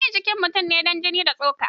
Anyi jikin mutum ne da jini da tsoka.